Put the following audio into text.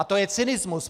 A to je cynismus!